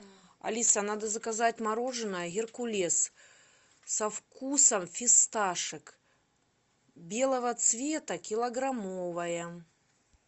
алиса надо заказать мороженое геркулес со вкусом фисташек белого цвета килограммовое